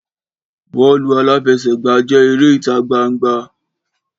Bọ́ọ̀lù aláfẹsẹ̀gbá jẹ́ eré ìta gbangba